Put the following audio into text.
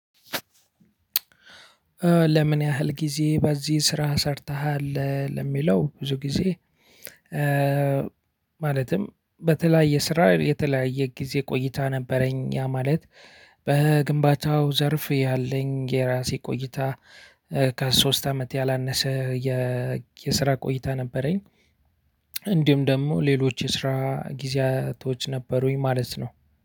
ለምን ያህል ጊዜ በዚህ ስራ ሰርተሃል ለሚለው ብዙ ጊዜ? ማለትም በተለያየ ስራ የተለያየ ጊዜ ቆይታ ነበረኝ። ያ ማለት በግንባታው ዘርፍ ያለኝ የራሴ ቆይታ። ከሶስት አመት ያላነሰ የስራ ቆይታ ነበረኝ። እንዲሁም ደግሞ ሌሎች የስራ ጊዜያቶች ነበሩኝ ማለት ነው።